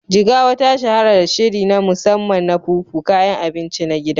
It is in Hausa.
Jigawa ta shahara da shiri na musamman na Fufu, kayan abinci na gida.